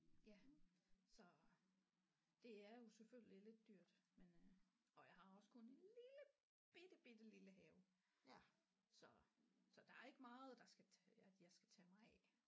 Ja så det er jo selvfølgelig lidt dyrt men øh og jeg har også kun en lille bitte bitte lille have så så der er ikke meget der skal at jeg skal tage mig af